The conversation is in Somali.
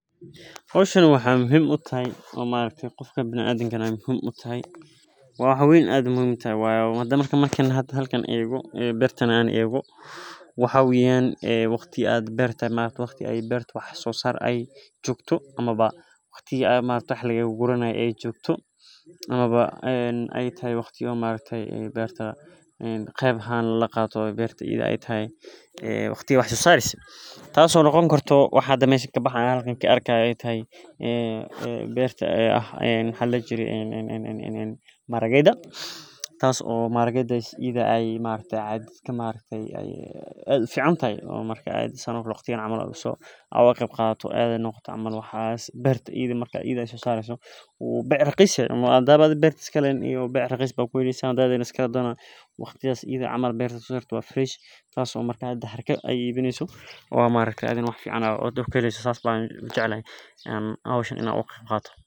Hoshan waxee muhiim utahay qofka bilaadankana muhiim u tahay waa wax aad u weyn wayo marka an halkan ego beerta ego waxaa weyan waqti berta wax sosar ee jogto amawa waqtiga wax laga guranaye ee jogto amawa ee tahay waqtiga wax laga guranaye ee tahay qeb ahan laqato ee tahay tas oo ee tahay horto waxa kabaxayo ee tahay maharageda beerta ida ee bec raqis aya ku heleysa oo athigana wax fican oga heleyso sas ban ujecelahay in an hoshan ka qeb qato sas waye.